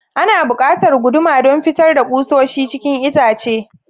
Ana buƙatar guduma don fitar da kusoshi cikin itace.